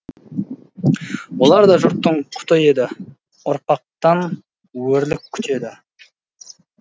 олар да жұрттың құты еді ұрпақтан өрлік күтеді